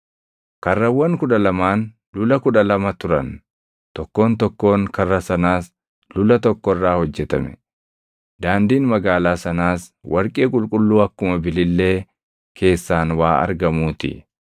Karrawwan kudha lamaan lula kudha lama turan; tokkoon tokkoon karra sanaas lula tokko irraa hojjetame. Daandiin magaalaa sanaas warqee qulqulluu akkuma bilillee keessaan waa argamuu ti.